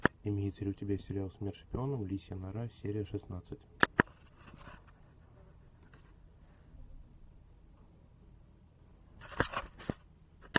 имеется ли у тебя сериал смерть шпионам лисья нора серия шестнадцать